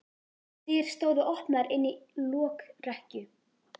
Dyr stóðu opnar inn í lokrekkju.